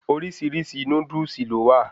Orísirísi Núdúsì lọ́ wa